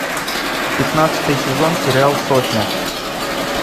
пятнадцатый сезон сериал сотня